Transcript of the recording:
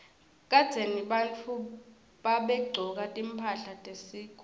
kadzeni bantfu babegcoka timphahla tesikhumba